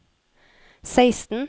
seksten